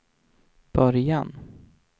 början